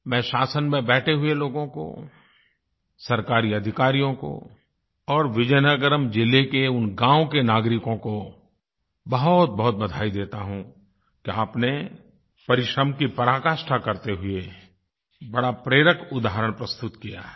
मैं शासन में बैठे हुए लोगों को सरकारी अधिकारियों को और विजयनगरम ज़िले के उन गाँव के नागरिकों को बहुतबहुत बधाई देता हूँ कि आपने परिश्रम की पराकाष्ठा करते हुए बड़ा प्रेरक उदाहरण प्रस्तुत किया है